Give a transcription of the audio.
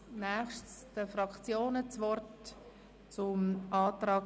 Als Nächstes gebe ich den Fraktionen zum Antrag